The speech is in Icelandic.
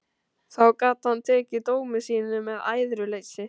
Þá gat hann tekið dómi sínum með æðruleysi.